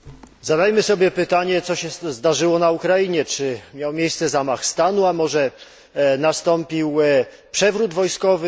Zadajmy sobie pytanie, co się zdarzyło na Ukrainie czy miał miejsce zamach stanu, a może nastąpił przewrót wojskowy?